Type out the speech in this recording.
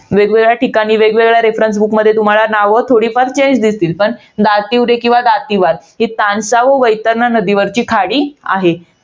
वेगवेगळ्या ठिकाणी, वेगवेगळ्या reffrence book तुम्हाला नावं थोडीफार change दिसतील. पण दातीवरे किंवा दातीवार ही तानसा व वैतरणा वरची खाडी आहे.